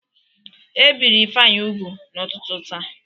E biri Ifeanyị ugwu n'ụtụtụ taa.